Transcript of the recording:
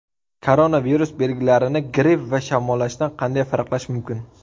Koronavirus belgilarini gripp va shamollashdan qanday farqlash mumkin?